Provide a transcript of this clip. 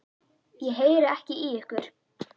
Ég heyri ekki í ykkur.